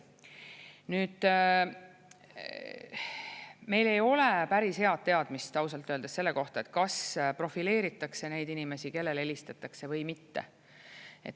Nüüd, meil ei ole päris head teadmist ausalt öeldes selle kohta, kas profileeritakse neid inimesi, kellele helistatakse või mitte.